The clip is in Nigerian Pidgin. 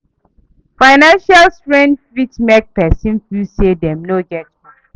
Financial strain fit mek pesin feel say dem no get hope